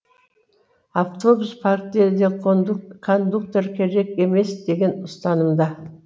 автобус парктері де кондуктор керек емес деген ұстанымда